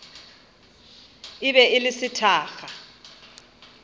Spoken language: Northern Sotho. e be e le sethakga